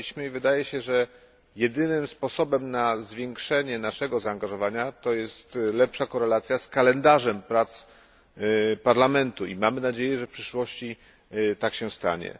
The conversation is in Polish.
Wydaje się, że jedynym sposobem na zwiększenie naszego zaangażowania jest lepsza korelacja z kalendarzem prac Parlamentu i mamy nadzieję, że w przyszłości tak się stanie.